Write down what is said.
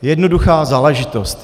Jednoduchá záležitost.